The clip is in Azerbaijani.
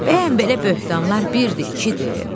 Bəyən belə böhtanlar birdir, ikidir?